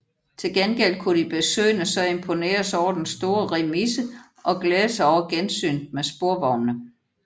Til gengæld kunne de besøgende så imponeres over den store remise og glæde sig over gensynet med sporvognene